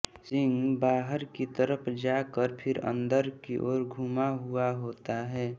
सींग बाहर की तरफ जाकर फिर अन्दर की ओर घूमा हुआ होता है